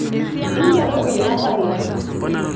ingero kuna pala